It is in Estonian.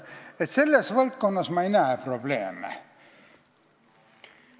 Nii et selles valdkonnas ma probleeme ei näe.